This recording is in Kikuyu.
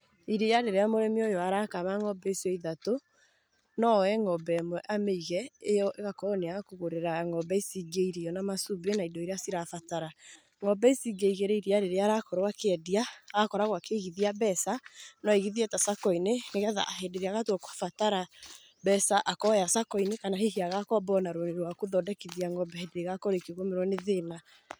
Iria rĩrĩa mũrĩmi ũyũ arakama ng'ombe icio ithatũ no oye ng'ombe ĩmwe amĩige ĩyo ĩgakorwo nĩ ya kũgũrĩra ng'ombe ici ingĩ irio na macumbĩ na indo iria cirabatara. Ng'ombe ici ingĩ igĩri iria rĩrĩa arakorwo akĩendia agakorwo akĩigithia mbeca no aigithie ta Sacco-inĩ nĩ getha hĩndĩ ĩrĩa agakorwo akĩbatara mbeca akoya Sacco-inĩ kana hihi agakomba ona rũni rwa gũthondekithia ng'ombe hĩndĩ ĩrĩa igakorwo ikĩgũmĩrwo nĩ thĩna.